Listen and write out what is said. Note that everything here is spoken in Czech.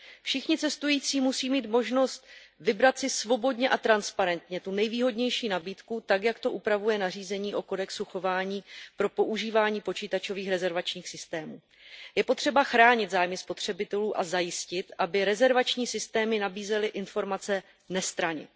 Všichni cestující musí mít možnost vybrat si svobodně a transparentně tu nejvýhodnější nabídku, tak jak to upravuje nařízení o kodexu chování pro používání počítačových rezervačních systémů. Je potřeba chránit zájmy spotřebitelů a zajistit, aby rezervační systémy nabízely informace nestranně.